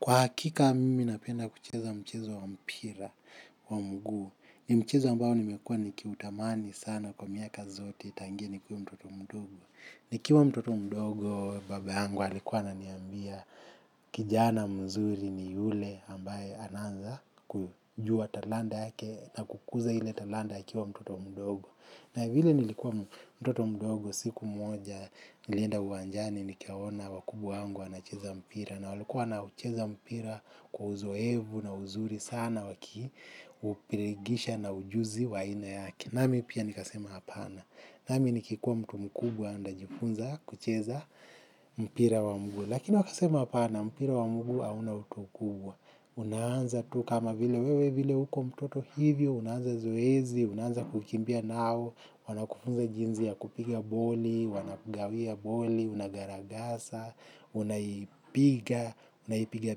Kwa hakika, mimi napenda kucheza mchezo wa mpira wa mguu. Ni mchezo ambao nimekuwa nikiutamani sana kwa miaka zote tangu nikuwe mtoto mdogo. Nikiwa mtoto mdogo, baba yangu alikuwa ananiambia kijana mzuri ni yule ambaye anaanza kujua talanta yake na kukuza ile talanta akiwa mtoto mdogo. Na vile nilikuwa mtoto mdogo siku moja, nilenda uwanjani nikaona wakubwa wangu wanacheza mpira. Na walikuwa wanaucheza mpira kwa uzoevu na uzuri sana wakiupirigisha na ujuzi wa aina yake. Nami pia nikasema hapana. Nami nikikuwa mtu mkubwa ntajifunza kucheza mpira wa mguu. Lakini wakasema hapana mpira wa mguu hauna utu kubwa. Unaanza tu kama vile wewe vile huko mtoto hivyo, unaanza zoezi, unaanza kukimbia nao, wanakufunza jinsi ya kupiga boli, wanakugawia boli, unagaragasa, unaipiga, unaipiga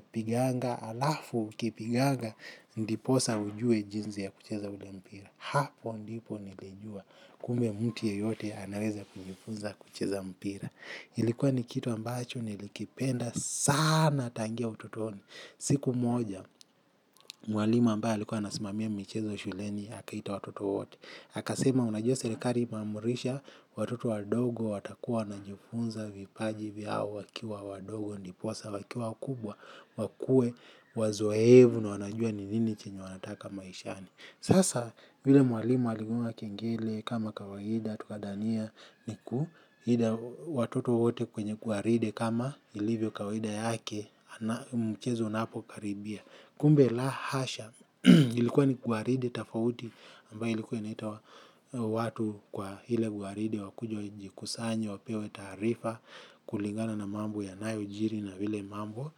piganga. Alafu ukipiganga, ndiposa ujue jinsi ya kucheza ule mpira. Hapo ndipo nilijua, kumbe mtu yeyote anaweza kujifunza kucheza mpira ilikuwa ni kitu ambacho, nilikipenda sana tangia ututoni. Siku moja, mwalimu ambaye alikuwa anasimamia michezo shuleni, akaita watoto wote akasema unajua serikali imeamrisha, watoto wadogo, watakuwa wanajifunza, vipaji vyao, wakiwa wadogo, ndiposa, wakiwa wakubwa, wakuwe, wazoevu na wanajua ni nini chenye wanataka maishani. Sasa, yule mwalimu aligonga kengele kama kawaida, tukadhania, niku, hida watoto wote kwenye gwaride kama ilivyo kawaida yake, mchezo unapokaribia. Kumbe la hasha ilikuwa ni gwaride tofauti ambayo ilikuwa inaita watu kwa ile gwaride wakuje wajikusanye wapewe taarifa kulingana na mambo yanayojiri na vile mambo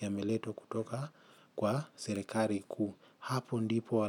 yameletwa kutoka kwa serekali kuu. Hapo ndipo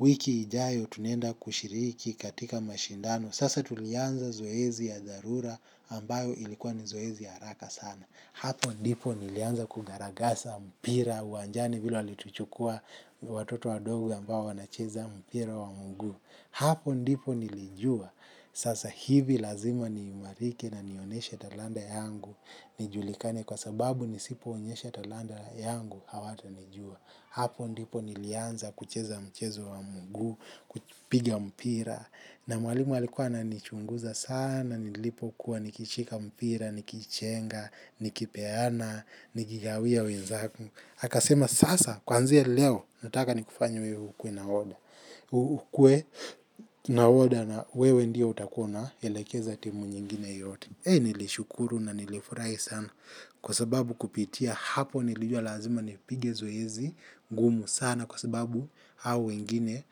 wiki ijayo tunaenda kushiriki katika mashindano. Sasa tulianza zoezi ya dharura ambayo ilikuwa ni zoezi ya haraka sana. Hapo ndipo nilianza kugaragasa mpira uwanjani vile walituchukua watoto wadogo ambao wanacheza mpira wa mguu. Hapo ndipo nilijua. Sasa hivi lazima niimarike na nioneshe talanta yangu. Nijulikane kwa sababu nisipoonyesha talanta yangu hawatanijua. Hapo ndipo nilianza kucheza mchezo wa mguu. Kupiga mpira. Na mwalimu alikuwa ananichunguza sana, nilipokuwa, nikishika mpira, nikichenga, nikipeana, nikigawia wenzangu. Akasema sasa kuanzia leo nataka nikufanye wewe ukuwe nahodha. Ukuwe nahodha na wewe ndio utakuwa una, elekeza timu nyingine yote. Ei nilishukuru na nilifurahi sana. Kwa sababu kupitia hapo nilijua lazima nipige zoezi ngumu sana kwa sababu hao wengine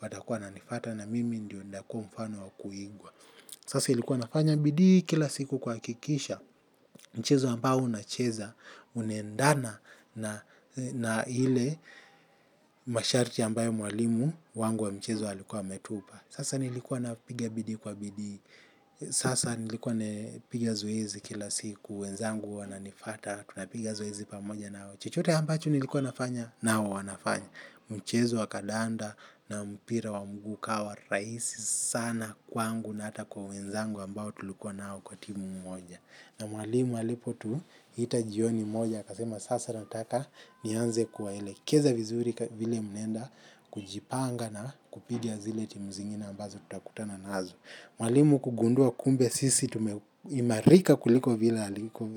watakuwa wananifuata na mimi ndio ntakuwa mfano wa kuigwa. Sasa ilikuwa nafanya bidii kila siku kuhakikisha mchezo ambao nacheza unaendana na ile masharti ambayo mwalimu wangu wa mchezo alikuwa ametupa. Sasa nilikuwa napigia bidii kwa bidii. Sasa nilikuwa napiga zoezi kila siku. Wenzangu wananifata. Tunapiga zoezi pamoja nao. Chochote ambacho nilikuwa nafanya? Nao wanafanya. Mchezo wa kadanda na mpira wa mguu ukawa rahisi sana kwangu na hata kwa wenzangu ambao tulikuwa nao kwa timu mmoja. Na mwalimu alipotuita jioni moja akasema sasa nataka nianze kuwaelekeza vizuri vile mnaenda kujipanga na kupiga zile timu zingine ambazo tutakutana nazo. Mwalimu kugundua kumbe sisi tumeimarika kuliko vile aliku.